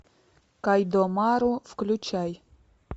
кайдомару включай